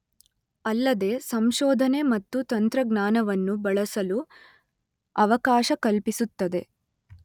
ಅಲ್ಲದೆ ಸಂಶೋಧನೆ ಮತ್ತು ತಂತ್ರಜ್ಞಾನವನ್ನು ಬಳಸಲು ಅವಕಾಶ ಕಲ್ಪಿಸುತ್ತದೆ.